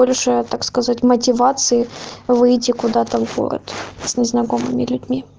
так сказать мотивации выйти куда-то в город незнакомыми людьми